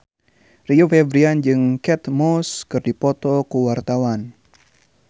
Rio Febrian jeung Kate Moss keur dipoto ku wartawan